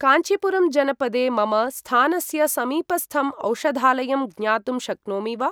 काञ्चीपुरम् जनपदे मम स्थानस्य समीपस्थम् औषधालयं ज्ञातुं शक्नोमि वा?